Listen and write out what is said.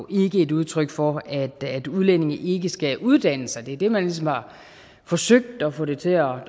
ikke et udtryk for at at udlændinge ikke skal uddanne sig det er det man ligesom har forsøgt at få det til at